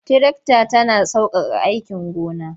Tirakta tana sauƙaƙa aikin gona.